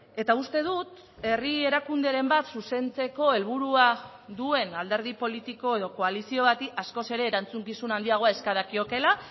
eta uste dut herri erakunderen bat zuzentzeko helburua duen alderdi politiko edo koalizio bati askoz ere erantzukizun handiagoa eska dakiokela